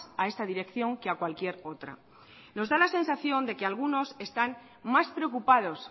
a esta dirección que a cualquier otra nos da la sensación de que algunos están más preocupados